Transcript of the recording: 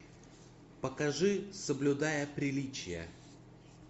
покажи соблюдая приличия